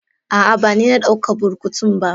Aa bani na dauka burkutun ba.